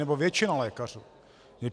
Nebo většina lékařů?